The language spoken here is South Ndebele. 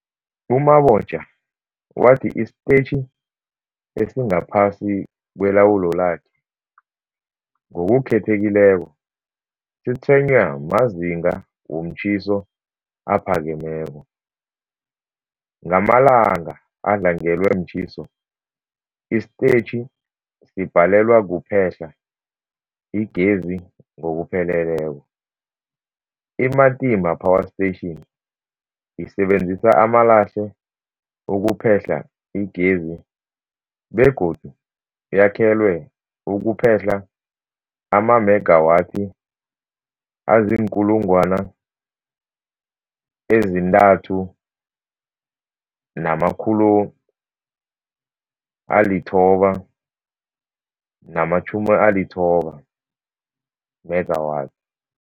U-Mabotja wathi isitetjhi esingaphasi kwelawulo lakhe, ngokukhethekileko, sitshwenywa mazinga womtjhiso aphakemeko. Ngamalanga adlangelwe mtjhiso, isitetjhi sibhalelwa kuphehla igezi ngokupheleleko. I-Matimba Power Station isebenzisa amalahle ukuphehla igezi begodu yakhelwe ukuphehla amamegawathi azii-3990 megawatts.